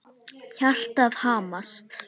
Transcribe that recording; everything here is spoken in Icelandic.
Hjartað hamast.